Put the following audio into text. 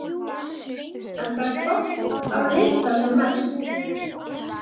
En það er gott að vita sem mest.